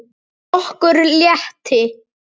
Okkur létti.